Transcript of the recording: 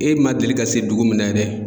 E ma deli ka se dugu min na yɛrɛ.